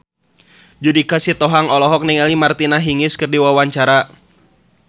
Judika Sitohang olohok ningali Martina Hingis keur diwawancara